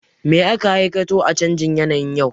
Me aka hakaito a canjin yanayin yau?